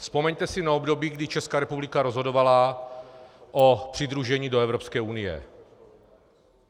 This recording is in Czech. Vzpomeňte si na období, kdy Česká republika rozhodovala o přidružení do Evropské unie.